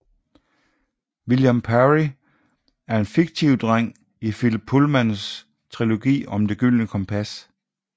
William Parry er en fiktiv dreng i Philip Pullmans trilogi om Det gyldne kompas